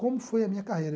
Como foi a minha carreira?